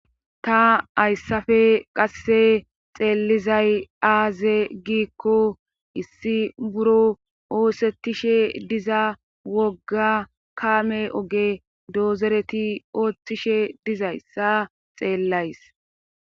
ta ayssafe qasse xeellizay aaze giikko issi buro oosettishe diza wogga kaame oge doozereti ooththishe dizayssa xeellays